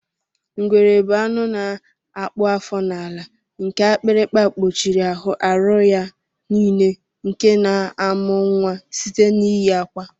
Ngwere bu anụ na akpụ afọ n'ala nke akpịrịkpa kpuchiri aru ya nile nke na amụ nwa site n'iyi akwa.